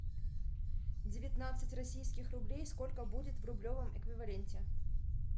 девятнадцать российских рублей сколько будет в рублевом эквиваленте